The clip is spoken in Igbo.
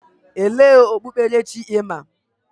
Elee okpukperechi ị ma?